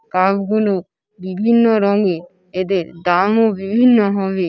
Cup গুলো বিভিন্ন রঙের । এদের দামও বিভিন্ন হবে।